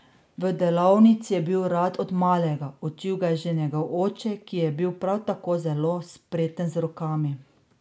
V delavnici je bil rad od malega, učil ga je že njegov oče, ki je bil prav tako zelo spreten z rokami.